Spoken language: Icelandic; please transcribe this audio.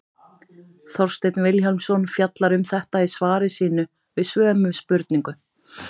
Þorsteinn Vilhjálmsson fjallar um þetta í svari sínu við sömu spurningu.